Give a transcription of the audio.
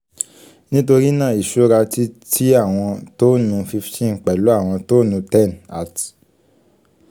nitori naa iṣura ti ti awọn tonnu fifteen pẹlu awọn tonnu ten at